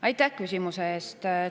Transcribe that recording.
Aitäh küsimuse eest!